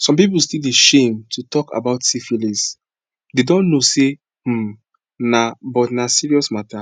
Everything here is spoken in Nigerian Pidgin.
some people still dey shame to talk about syphilisthey dont know say um na but na serious matter